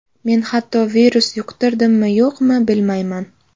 Men hatto virus yuqtirdimmi-yo‘qmi, bilmayman.